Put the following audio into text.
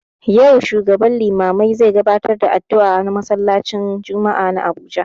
Yau shugaban limamai zai gabatar da addu'a a masallaci n jumma'ah na Abuja